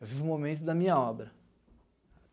Eu vivo o momento da minha obra.